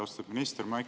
Austatud minister!